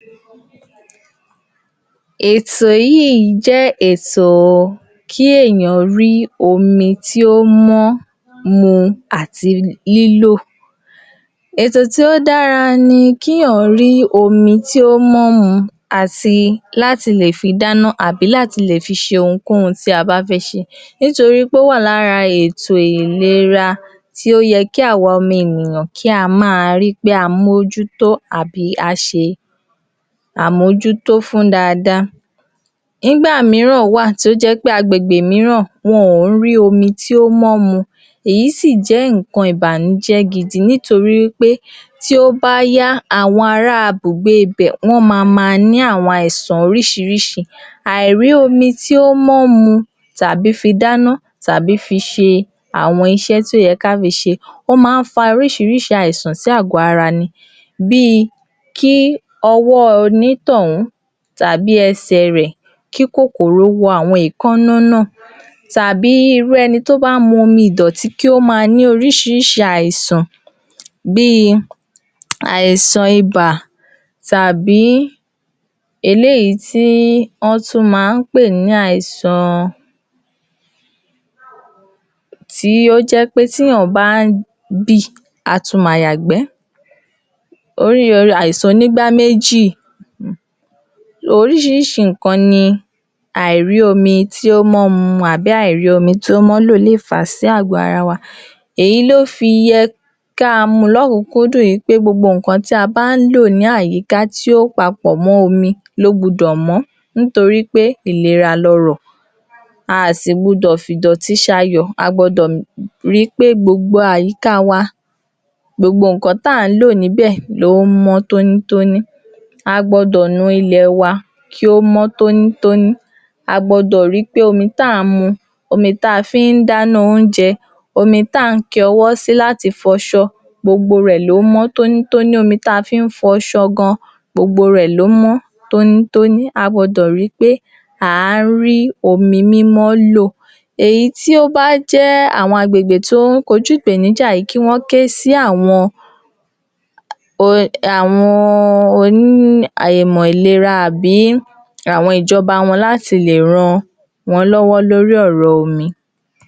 Èyí jé̩ nǹkan tí ó dára fún àwo̩n aboyún wa kí O̩ló̩run jé̩ kí gbogbo àwo̩n aboyún wa kí wo̩n bí wé̩ré̩ Ètò ìlera yìí wà fún àwo̩n aláboyún tí ó sì wà nínú oyún ìye̩n láti o̩jó̩ tí ó bá ti ri pé òun ní oyún tó sì ti lo̩ ilé-ìwòsàn láti lo̩ wò ó s̩e àyè̩wò bóya lóòótó̩ ni oyún náà wà ní ara rè̩ àti o̩jó̩ yìí ni ó ti gbo̩dò̩ ní ilé-ìwòsàn kan pàtó tí ó lo̩ s̩e ìforúko̩lè̩ sí́ láti lè máa wá fún ètò ìlera inú oyún ètò ìlera yìí jé̩ ètò tí ó níí s̩e pè̩lú tító̩ju ìyá àti oyún inú tí ó sì jé̩ ètò tó s̩e pàtàkì jù fún aláboyún gbogbo àwo̩n o̩ko̩ ló gbudò s̩e àlàyé lé̩kùnré̩ré̩ fún obìnrin tí ó bá ń kanrí pé kò ì tí tó àsìkò láti máa lo̩ ilé-ìwòsàn fún ìtójú tí ó péye láti bè̩rè̩ oyún wo̩n ípé ó ní s̩e pè̩lu ìlera o̩mo̩ wo̩n. Tí wó̩n bá gbó̩ irú èyí, ara á máa ta wo̩n ípé ǹkankan ò gbo̩dò s̩e o̩mo̩ inú wo̩n, á lè jé̩ kí o ́ yá wo̩n lára láti lè lo̩ ilé-ìwòsàn fún ìtójú tí ó péye. Ìtójú yìí sì jé ìtó̩jú tí ó s̩e pàtàkì fún àwo̩n aláboyún nítori wípé yíò jé̩ kí wó̩n mo̩ bí o̩mo̩ wo̩n s̩e ń gbé ìgbé-ayé ìrò̩̀run ní inú wo̩n; yóò sì tún máa mú ìdùnú wá fún àwo̩n náà wípé àwo̩n ó maá retíi o̩mo̩ léyìn osù me̩sàn-án. Eni tí ó bá ko̩ jálè̩ tí ò lo̩ s̩e àwo̩n ètò ìlera yìí nínú oyún ó máa ń padà mú wàhálà àti dàmú b’áwo̩n tí wo̩n bá fé bímo̩ nítorí kò kí ro̩rùn nígbà míìn tí wo̩n bá fé̩ bímo̩. Ó lè dí wó̩n lọ́wo̩ àti tètè rí o̩mo̩ bí kí orí o̩mo̩ tó lo̩ sókè Ké̩ sè̩ rè máa yo̩ ní ibi ìdí níbi ìdí níbi tó ye̩ k’órí wà. Gbogbo àwo̩n ǹkan báyìí tó bá jé̩ pé wó̩ ti lo̩ fún àyè̩wò àti ìlera tó péye nínú oyún ni àwo̩n dó̩ki̩tà àti nó̩ò̩sì á ti mo̩ ǹkan tí wo̩n máa s̩e si. Kí O̩ló̩run kí ó ràn wá ló̩wó̩.